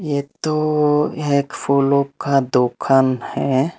ये तो यह एक फूलो का दुकान है।